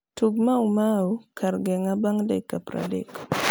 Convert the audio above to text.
tug maumau kar geng bang dakika praadek